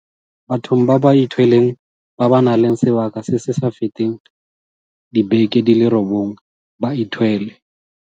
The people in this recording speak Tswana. Bathong ba ba ithweleng ba ba nang le sebaka se se sa feteng dibeke di le robongwe ba ithwele.